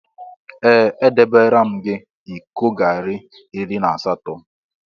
Ee! Edebeere m gị iko garị iri na asatọ.